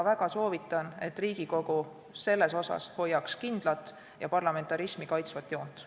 Väga soovitan, et Riigikogu hoiaks selles asjas kindlat ja parlamentarismi kaitsvat joont.